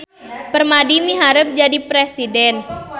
Permadi miharep jadi presiden